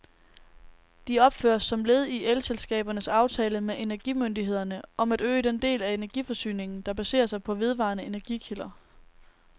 De opføres som led i elselskabernes aftale med energimyndighederne om at øge den del af energiforsyningen, der baserer sig på vedvarende energikilder.